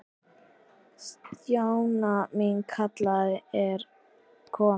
Stjana mín, kallið er komið.